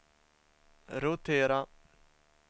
rotera